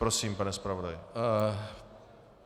Prosím, pane zpravodaji.